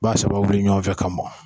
Ba saba wuli ɲɔgɔn fɛ ka bɔ.